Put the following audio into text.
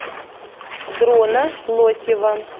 дрона лосева